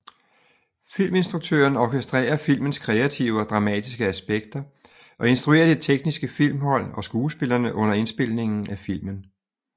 Filminstruktøren orkestrerer filmens kreative og dramatiske aspekter og instruerer det tekniske filmhold og skuespillerne under indspilningen af filmen